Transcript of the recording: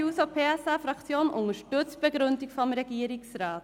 Die SP-JUSO-PSA-Fraktion unterstützt die Begründung des Regierungsrats.